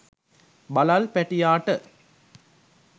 බළල් පැටියාට